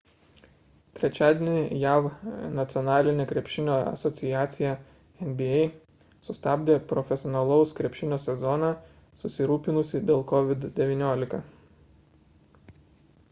trečiadienį jav nacionalinė krepšinio asociacija nba sustabdė profesionalaus krepšinio sezoną susirūpinusi dėl covid-19